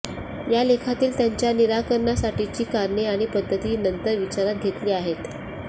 या लेखातील त्यांच्या निराकरणासाठीची कारणे आणि पद्धती नंतर विचारात घेतली आहेत